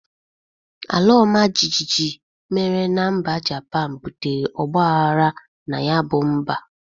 Alaọmajịjị mere na mba Japan butere ọgbaghara na ya bụ mba